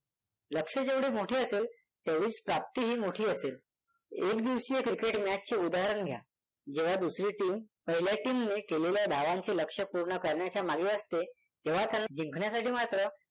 लक्ष्य जेवढे मोठे असेल तेवढीच प्राप्तीही मोठी असेल. एक दिवसीय क्रिकेट मॅचचे उदाहरण घ्या जेव्हा दुसरी टीम पहिल्या टीमने केलेल्या धावांचे लक्ष्य पूर्ण करण्याच्या मागे असते तेव्हा त्यांना जिंकण्यासाठी मात्र